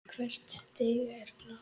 Hvert stig er flott.